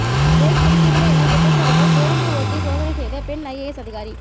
break பிடிக்கவில்லை என குற்றச்சாட்டுள் பேருந்தை ஓட்டி சோதனை செய்த பெண் ஐஏஎஸ் அதிகாரி